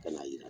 Ka na yira